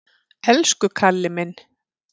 Elsku Kalli minn!